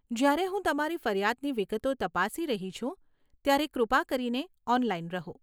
જ્યારે હું તમારી ફરિયાદની વિગતો તપાસી રહી છું ત્યારે કૃપા કરીને ઓનલાઇન રહો.